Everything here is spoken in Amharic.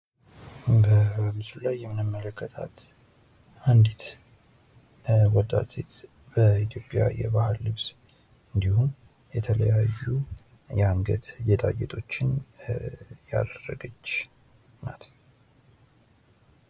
በምስሉ ላይ የምንመለከታት አንዲት ወጣት ሴት በኢትዮጵያ የባህል ልብስ እንዲሁም የተለያዩ የአንገት ጌጣጌጦችን ያደረገች ናት።